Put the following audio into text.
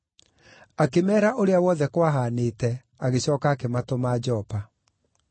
Akĩmeera ũrĩa wothe kwahanĩte agĩcooka akĩmatũma Jopa.